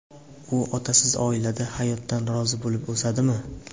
U otasiz oilada hayotdan rozi bo‘lib o‘sadimi?